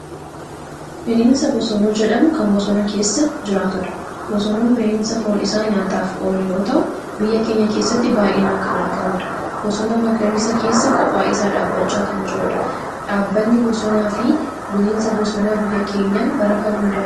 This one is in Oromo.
Bineensa bosonuu jedhamu kan bosona keessa jiraatudha. Bosonuun bineensa foon isaa nyaataaf oolu yoo ta'u, biyya keenya keessatti baay'inaan kan argamudha. Bosona magariisa keessa kophaa isaa dhaabachaa kan jirudha. Dhaabbanni bosonaa fi bineensa bosonaa biyya keenyaa bara kam hundaa'e?